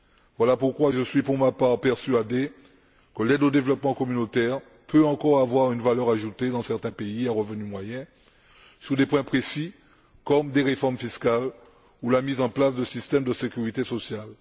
Voilà pourquoi je suis pour ma part persuadé que l'aide au développement communautaire peut encore avoir une valeur ajoutée dans certains pays à revenus moyens sur des points précis, comme des réformes fiscales ou la mise en place de systèmes de sécurité sociale.